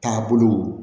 Taabolo